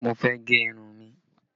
Mo fẹ́ gẹ irun mi